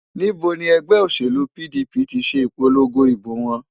Níbo ni ẹgbẹ́ òṣèlú PDP ti ṣe ìpolongo ìbò wọn?